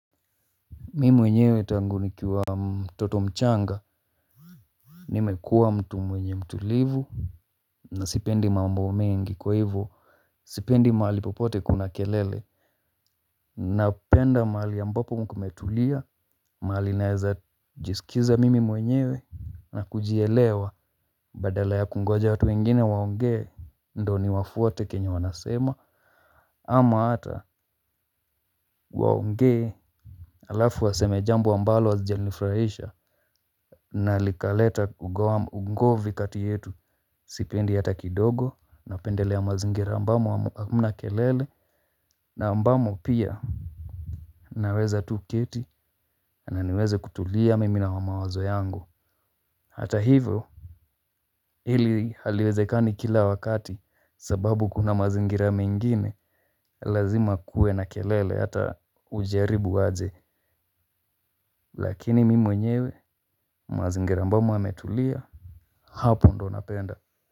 Mi mwenyewe tangu nikiwa mtoto mchanga. Nimekuwa mtu mwenye mtulivu. Na sipendi mambo mengi kwa hivyo sipendi mahali popote kuna kelele. Na penda mahali ambapo kumetulia. Mahali naeza jiskiza mimi mwenyewe na kujielewa. Badala ya kungoja watu wengine waongee ndo ni wafuate kenye wanasema ama hata waongee. Alafu waseme jambo ambalo halijanifurahisha. Na likaleta ugom ungovi kati yetu. Sipendi hata kidogo. Napendelea ya mazingira ambamo ham hamna kelele. Na ambamo pia naweza tu keti. Na niweze kutulia mimi na mawazo yangu. Hata hivyo hili haliwezekani kila wakati sababu kuna mazingira mengine. Lazima kuwe na kelele hata ujaribu aje. Lakini mimi mwenyewe mazingira ambamo yametulia. Hapo ndo napenda.